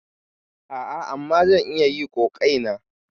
A'a, amma zan yi iya ƙoƙaeina.